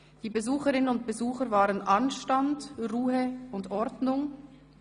Die Besucherinnen und Besucher wahren Anstand, Ruhe und Ordnung.